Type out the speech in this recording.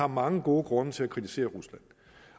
mange gode grunde til at kritisere rusland